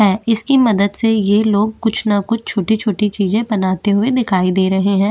है इसकी मदद से ये लोग कुछ न कुछ छोटी-छोटी चीजें बनाते हुए दिखाई दे रहे है।